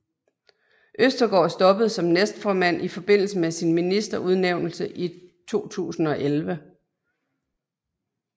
Østergaard stoppede som næstformand i forbindelse med sin ministerudnævnelse i 2011